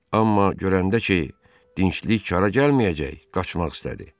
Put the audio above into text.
Amma görəndə ki, dinclik xara gəlməyəcək, qaçmaq istədi.